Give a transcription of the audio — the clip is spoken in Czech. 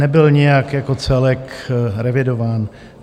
Nebyl nijak jako celek revidován.